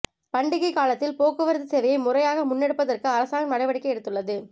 பண்டிகைக் காலத்தில் போக்குவரத்து சேவையை முறையாக முன்னெடுப்பதற்கு அரசாங்கம் நடவடிக்கை எடுத்துள்ளது